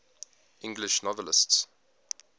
english novelists